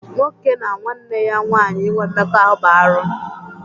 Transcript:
Nwoke na nwanne ya nwaanyị inwe Mmekọahụ bụ arụ.